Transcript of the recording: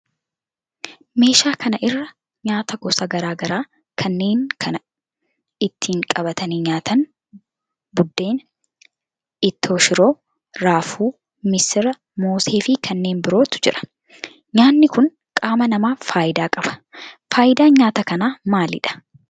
Meeshaa kana irra nyaata gosa garaa garaa kanneen akka kan ittin qabatanii nyaatan buddeen, ittoo shiroo, raafuu, missira, moosee fi kanneen birootu jira. nyaatni kun qaama namaaf faayida qaba. faayidaan nyaata kanaa maalidha?